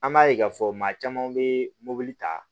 An b'a ye k'a fɔ maa caman be mobili ta